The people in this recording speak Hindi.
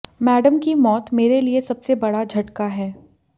मैडम की मौत मेरे लिए सबसे बड़ा झटका है